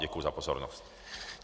Děkuji za pozornost.